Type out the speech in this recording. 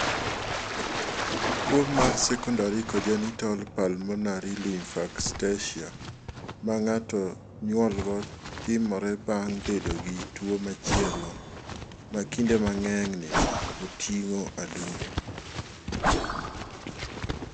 Tuo mar Secondary congenital pulmonary lymphangiectasia ma ng�ato nyuolgo timore bang� bedo gi tuo machielo, ma kinde mang�eny oting�o adundo.